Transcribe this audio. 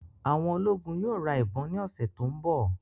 Àwọn ológun yóò ra ìbọn ni ọsẹ tó ń bọ̀